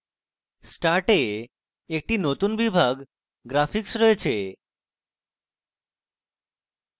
start তে in একটি নতুন বিভাগ graphics দেখি